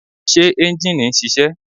Ṣé ẹ́njìnì ń ṣiṣẹ́?